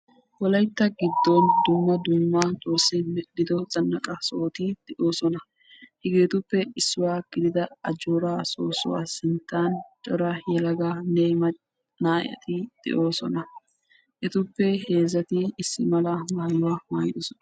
woalytta gidini dumma dumma zanaqa sohoti doossona hegetuppe issuwa gidida ajorra soosuwani yelaga naati beettosona.